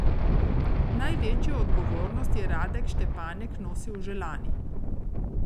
Največjo odgovornost je Radek Štepanek nosil že lani.